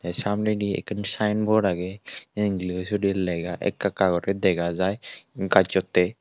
samnedi ekkan sayenbot agey englisodi lega ekka ekka guri dega jai gajjottey.